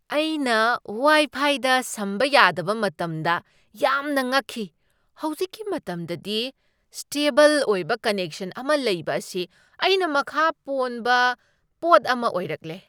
ꯑꯩꯅ ꯋꯥꯏꯐꯥꯏꯗ ꯁꯝꯕ ꯌꯥꯗꯕ ꯃꯇꯝꯗ ꯌꯥꯝꯅ ꯉꯛꯈꯤ꯫ ꯍꯧꯖꯤꯛꯀꯤ ꯃꯇꯝꯗꯗꯤ, ꯁ꯭ꯇꯦꯕꯜ ꯑꯣꯏꯕ ꯀꯟꯅꯦꯛꯁꯟ ꯑꯃ ꯂꯩꯕ ꯑꯁꯤ ꯑꯩꯅ ꯃꯈꯥ ꯄꯣꯟꯕ ꯄꯣꯠ ꯑꯃ ꯑꯣꯏꯔꯛꯂꯦ꯫